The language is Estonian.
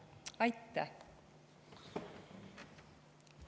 Aitäh!